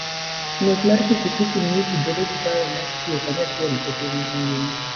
Ng'wech mar pikipiki miyo ji bedo gi paro mar tiyo kanyachiel e piny mangima.